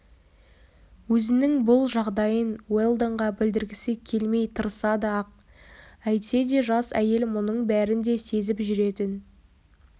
өзінің бұл жағдайын уэлдонға білдіргісі келмей тырысады-ақ әйтсе де жас әйел мұның бәрін де сезіп жүретін